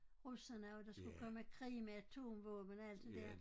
Russerne og at der skulle komme krig med atomvåben og alt det der